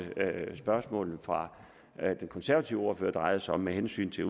spørgsmålene fra den konservative ordfører drejede sig om med hensyn til